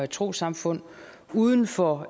trossamfund uden for